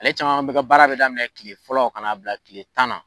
Ale caman bɛ ka baara bɛ daminɛ kile fɔlɔ kana' bila kile tan na.